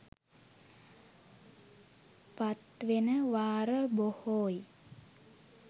පත්වෙන වාර බොහෝයි